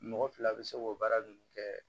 Mɔgɔ fila bɛ se k'o baara ninnu kɛ